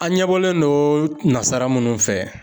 An ɲɛ bɔlen don nasara minnu fɛ.